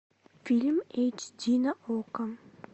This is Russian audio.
фильм эйч ди на окко